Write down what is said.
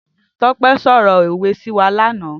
Tope sọrọ ówé si wá làná